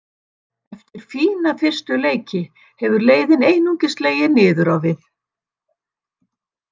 Eftir fína fyrstu leiki hefur leiðin einungis legið niður á við.